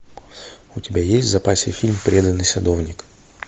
у тебя есть в запасе фильм преданный садовник